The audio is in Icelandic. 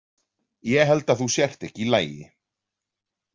Ég held að þú sért ekki í lagi.